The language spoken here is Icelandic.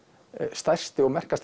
stærsti og merkasti